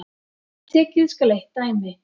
Tekið skal eitt dæmi.